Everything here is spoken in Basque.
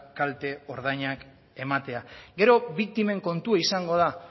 kalte ordainak ematea gero biktimen kontua izango da